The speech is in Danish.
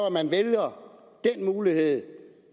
at man vælger den mulighed